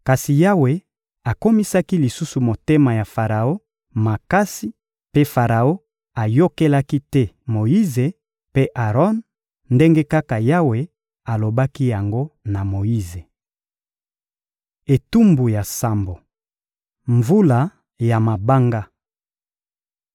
Kasi Yawe akomisaki lisusu motema ya Faraon makasi mpe Faraon ayokelaki te Moyize mpe Aron, ndenge kaka Yawe alobaki yango na Moyize. Etumbu ya sambo: mvula ya mabanga